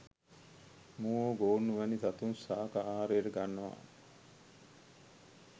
මුවෝ, ගෝන්නු, වැනි සතුන් ශාඛ ආහාරයට ගන්නව.